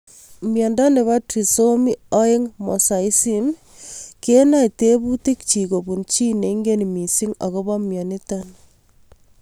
Miondop trisomy 2 mosaicism ko onae tebutik chik kopun chii neingen mising akopo mianito